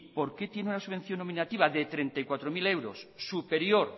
por qué tiene una subvención nominativa de treinta y cuatro mil euros superior